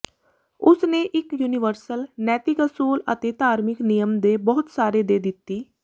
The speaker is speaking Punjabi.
ਉਸ ਨੇ ਇੱਕ ਯੂਨੀਵਰਸਲ ਨੈਤਿਕ ਅਸੂਲ ਅਤੇ ਧਾਰਮਿਕ ਨਿਯਮ ਦੇ ਬਹੁਤ ਸਾਰੇ ਦੇ ਦਿੱਤੀ